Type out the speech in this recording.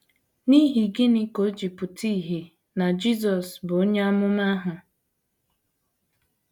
N’ihi gịnị ka o ji pụta ìhè na Jisọs bụ “ onye amụma ahụ ”?